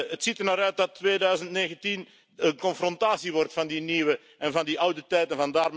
Het ziet ernaar uit dat 2019 confrontatie wordt van die nieuwe en van die oude tijden.